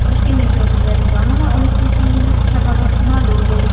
Toshkent metrosida reklamalar olib tashlangani sababi ma’lum bo‘ldi.